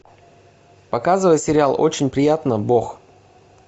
показывай сериал очень приятно бог